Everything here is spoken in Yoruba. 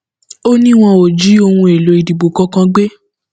ó ní wọn ò jí ohun èèlò ìdìbò kankan gbé